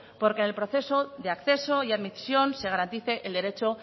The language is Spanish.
porque en el proceso de acceso y admisión se garantice el derecho